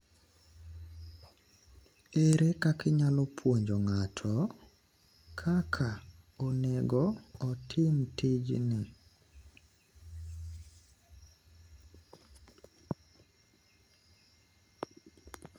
No views.